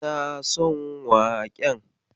Kina son waƙen?